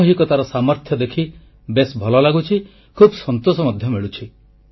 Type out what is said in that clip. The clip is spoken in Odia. ସାମୂହିକତାର ସାମର୍ଥ୍ୟ ଦେଖି ବେଶ୍ ଭଲ ଲାଗୁଛି ଖୁବ୍ ସନ୍ତୋଷ ମଧ୍ୟ ମିଳୁଛି